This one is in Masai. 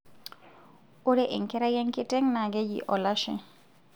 Ore enkerai enkiteng' naa keji olashe.